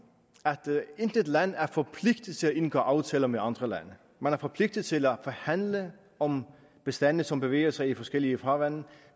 at intet land er forpligtet til at indgå aftaler med andre lande man er forpligtet til at forhandle om bestande som bevæger sig i forskellige farvande